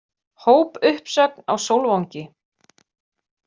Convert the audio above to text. Hópuppsögn á Sólvangi